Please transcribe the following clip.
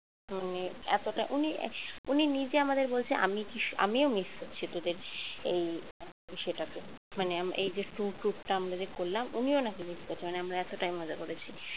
মানে এতটা উনি উনি নিজে আমাদের বলছে আমি কি আমিও miss করছি তোদের এই ইসেটাকে মানে এই যে একটু tour tour টা আমরা যে করলাম উনিও নাকি miss করছে আমরা এতটাই মজা করেছি